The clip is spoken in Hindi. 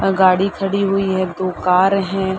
अ गाड़ी खड़ी हुई है। दो कार हैं।